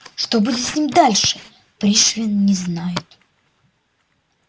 что будет с ним дальше пришвин не знает